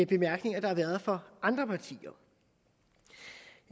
bemærkninger der har været fra andre partier jeg